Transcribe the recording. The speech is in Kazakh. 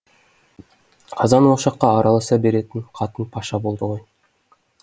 қазан ошаққа араласа беретін қатын паша болды ғой